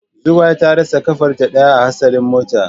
Zugwai ta rasa kafarta daya a hatsarin mota.